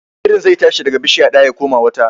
Birin zai tashi daga bishiya ɗaya ya koma wata.